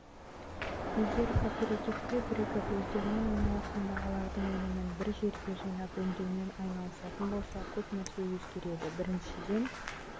егер кооперативке бірігіп өздерінің айналасындағылардың өнімін бір жерге жинап өңдеумен айналысатын болса көп нәрсе өзгереді біріншіден